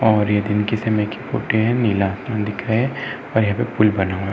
और ये दिन के समय की फोटो है। नीला आसमान दिख रहा है और यहाँ पे पुल बना हुआ है।